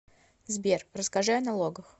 сбер расскажи о налогах